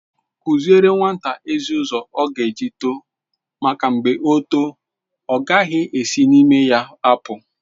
Kụziere nwata ezi ụzọ ọ ga eji too make mgbe o too ọ gaghị esi n'ime ya apụ.